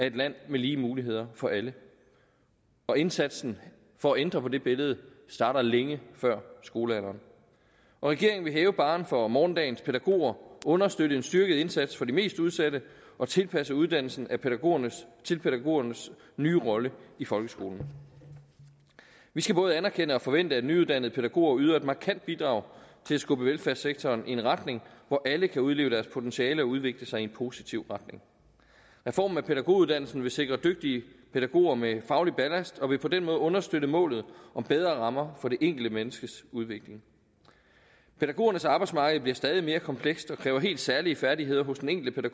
et land med lige muligheder for alle indsatsen for at ændre på det billede starter længe før skolealderen regeringen vil hæve barren for morgendagens pædagoger understøtte en styrket indsats for de mest udsatte og tilpasse uddannelsen til pædagogernes til pædagogernes nye rolle i folkeskolen vi skal både anerkende og forvente at nyuddannede pædagoger yder et markant bidrag til at skubbe velfærdssektoren i en retning hvor alle kan udleve deres potentiale og udvikle sig i en positiv retning reformen af pædagoguddannelsen vil sikre dygtige pædagoger med faglig ballast og vil på den måde understøtte målet om bedre rammer for det enkelte menneskes udvikling pædagogernes arbejdsmarked bliver stadig mere komplekst og kræver helt særlige færdigheder hos den enkelte